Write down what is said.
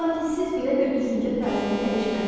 Lakin siz belə bir düşüncə tərzini dəyişməlisiniz.